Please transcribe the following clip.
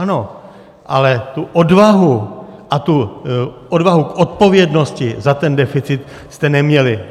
Ano, ale tu odvahu a tu odvahu k odpovědnosti za ten deficit jste neměli.